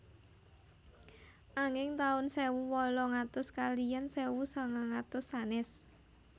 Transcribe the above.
Anging taun sewu wolung atus kaliyan sewu sagang atus sanès